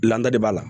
Ladali b'a la